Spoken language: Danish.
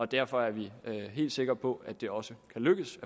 derfor er vi helt sikre på at det også kan lykkes